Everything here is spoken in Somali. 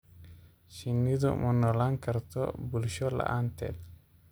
Shinnidu ma noolaan karto bulsho la�aanteed.